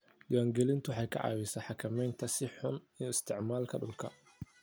Diiwaangelintu waxay ka caawisaa xakamaynta si xun u isticmaalka dhulka.